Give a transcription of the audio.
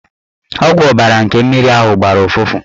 Ọgwụ ọbara nke mmiri ahụ gbara ụfụfụ.